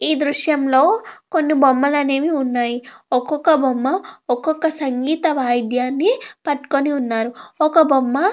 ఈ దృశ్యంలో కొన్ని బొమ్మలు అనేవి ఉన్నాయి ఒక్కొక్క బొమ్మ ఒక్కొక్క సంగీత వాయిద్యాన్ని పట్టుకొని ఉన్నారు ఒక బొమ్మ --